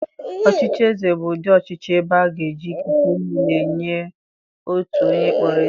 Ọchịchị eze bụ ụdị ọchịchị ebe a ga-eji ikike niile nyee otu onye a kpọrọ eze.